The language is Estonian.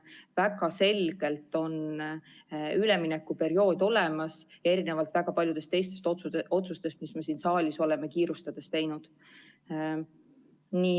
Väga selgelt on üleminekuperiood olemas, erinevalt väga paljudest teistest otsustest, mis me siin saalis oleme kiirustades teinud.